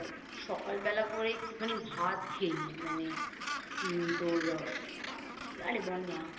সকালবেলা করে একটুখানি ভাত খেয়ে নি মানে উম তোর আ আরে বল না